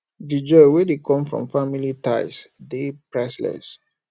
di joy wey dey come from family ties dey priceless